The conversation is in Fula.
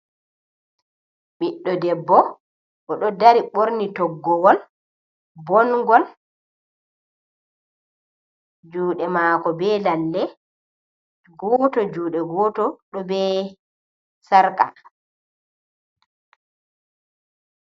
Ɓiɗdo debbo, o do dari borni toggowol bongol. juuɗe maako be lalle gooto juɗee gooto do be sarka.